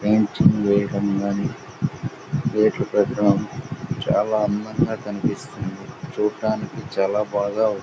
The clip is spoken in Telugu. చాలా అందంగా కనిపిస్తుంది చూడ్డానికి చాలా బాగా ఉం--